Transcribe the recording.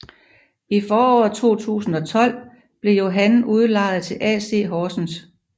I foråret 2012 blev Johan udlejet til AC Horsens